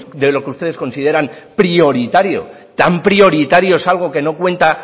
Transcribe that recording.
de lo que ustedes consideran prioritario tan prioritario es algo que no cuenta